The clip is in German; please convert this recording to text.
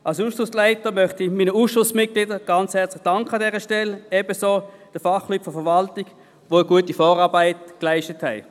Als Ausschussleiter möchte ich meinen Ausschussmitgliedern an dieser Stelle herzlich danken, ebenso den Fachleuten der Verwaltung, welche eine gute Vorarbeit geleistet haben.